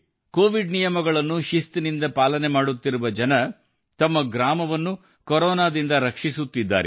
Covid ನಿಯಮಗಳನ್ನು ಶಿಸ್ತಾಗಿ ಪಾಲನೆ ಮಾಡುತ್ತಿರುವ ಜನರು ತಮ್ಮ ಗ್ರಾಮವನ್ನು ಕೊರೋನಾದಿಂದ ರಕ್ಷಿಸುತ್ತಿದ್ದಾರೆ